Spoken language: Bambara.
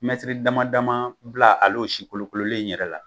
Mɛtiri dama ma dama bila al'o si kolokololen in yɛrɛ la